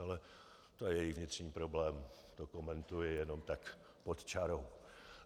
Ale to je jejich vnitřní problém, to komentuji jenom tak pod čarou.